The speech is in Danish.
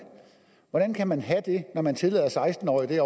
hvordan kan man have det når man derovre tillader seksten årige at